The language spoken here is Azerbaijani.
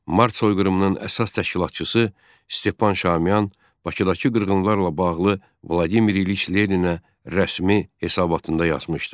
Mart soyqırımının əsas təşkilatçısı Stepan Şamiyan Bakıdakı qırğınlarla bağlı Vladimir İliç Leninə rəsmi hesabatında yazmışdı.